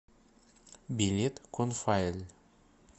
билет конфаэль